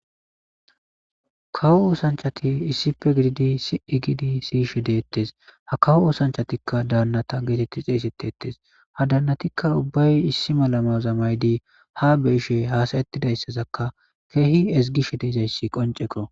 Kawo oosanchati issipe gididi sii giidi siyishe deettes ha kawo osanchatikka daannata geetetti xeeseteettes ha daannatikka ubbay issi malama zamaydi ha be ishe haasayettidayssazakka keehi esgishe deezayssi qonceko.